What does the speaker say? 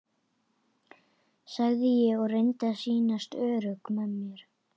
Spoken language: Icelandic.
sagði ég og reyndi að sýnast örugg með mig.